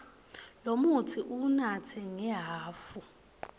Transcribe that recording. lomutsi uwunatsa ngehhafu